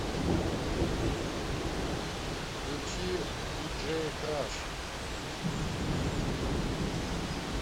включи диджей краш